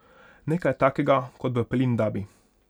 Nekaj takega kot v Pelindabi.